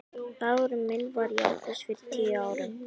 Dagurinn minn var í ágúst fyrir tíu árum.